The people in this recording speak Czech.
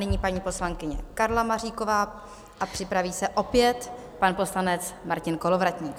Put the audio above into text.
Nyní paní poslankyně Karla Maříková a připraví se opět pan poslanec Martin Kolovratník.